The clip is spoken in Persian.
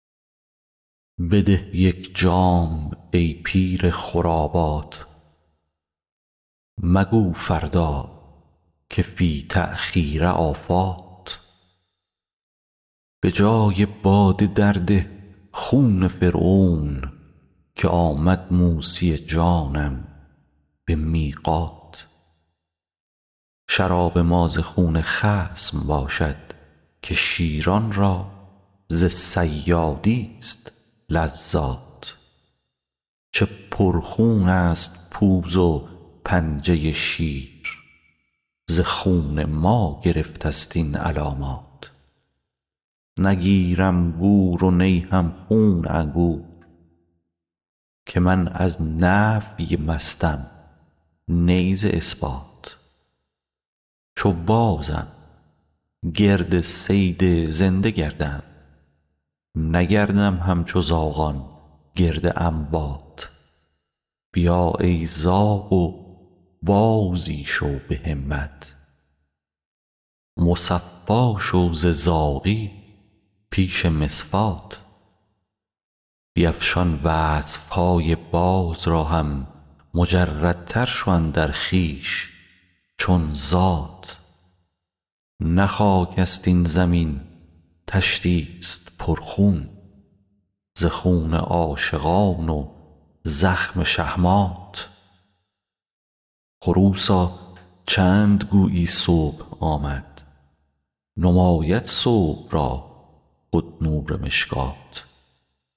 بده یک جام ای پیر خرابات مگو فردا که فی التأخیر آفات به جای باده درده خون فرعون که آمد موسی جانم به میقات شراب ما ز خون خصم باشد که شیران را ز صیادیست لذات چه پرخونست پوز و پنجه شیر ز خون ما گرفتست این علامات نگیرم گور و نی هم خون انگور که من از نفی مستم نی ز اثبات چو بازم گرد صید زنده گردم نگردم همچو زاغان گرد اموات بیا ای زاغ و بازی شو به همت مصفا شو ز زاغی پیش مصفات بیفشان وصف های باز را هم مجردتر شو اندر خویش چون ذات نه خاکست این زمین طشتیست پرخون ز خون عاشقان و زخم شهمات خروسا چند گویی صبح آمد نماید صبح را خود نور مشکات